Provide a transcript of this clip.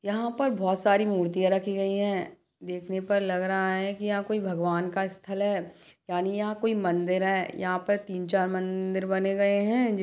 यहाँ पर बहुत सारी मूर्तियाँ रखी गई है देखने पर लग रहा है की यह कोई भगवान का स्थल है यानि यहाँ कोई मंदिर है यहाँ पर तीन-चार मंदिर बने गए है।